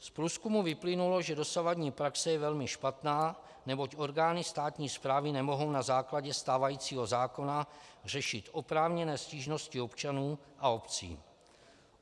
Z průzkumu vyplynulo, že dosavadní praxe je velmi špatná, neboť orgány státní správy nemohou na základě stávajícího zákona řešit oprávněné stížnosti občanů a obcí.